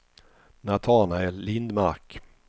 Natanael Lindmark